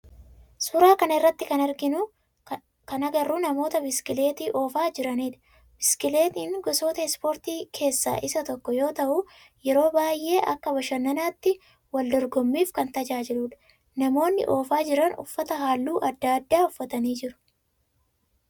Suuraa kana irratti kan arginu kan agarru namoota biskileettii oofaa jiranidha. Biskileettin gosoota ispoortii keessaa isa tokko yoo ta'u yeroo baayyeen akka bashannanaatti, waldorgomiif kan tajaajiludha. Namoonnii oofaa jiran uffata halluu addaa addaa uffatanii jiru.